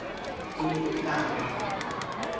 e ne e ka ba